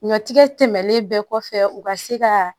Ɲɔtigɛ tɛmɛnen bɛɛ kɔfɛ u ka se ka